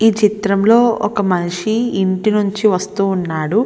ఈ చిత్రంలో ఒక మనిషి ఇంటి నుంచి వస్తూ ఉన్నాడు.